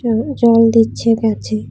উম জল দিচ্ছে গাছে।